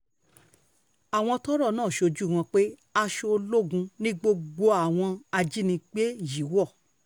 àwọn um tọ́rọ̀ náà ṣojú wọn sọ pé aṣọ ológun ni gbogbo àwọn um ajínigbé yìí wọ̀